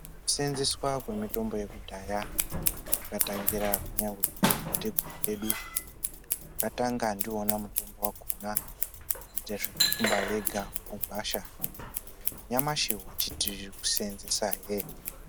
Kuseenzeswa kwemitombo yekudhaya kwakatangira kunyangwe kumadzitateguru edu. Vakatanga ndiwona mutombo yakhona kuita zvekuthumba vega mugwasha. Nanyamashi watichi kuseenzesahe.